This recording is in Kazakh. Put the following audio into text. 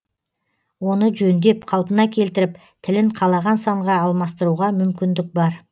оны жөндеп қалпына келтіріп тілін қалаған санға алмастыруға мүмкіндік бар